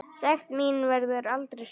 Sekt mín verður aldrei sönnuð.